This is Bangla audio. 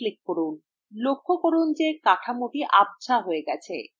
লক্ষ্য করুন যে কাঠামোটি আবঝা হয়ে গেছে